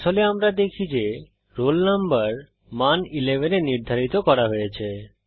কনসোলে আমরা দেখি যে রোল নম্বর মান 11 এ নির্ধারিত করা হয়েছে